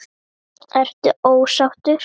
Ertu ósáttur?